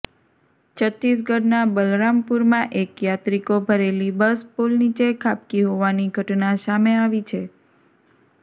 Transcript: છત્તીસગઢના બલરામપુરમાં એક યાત્રીકો ભરેલી બસ પુલ નીચે ખાબકી હોવાની ઘટના સામે આવી છે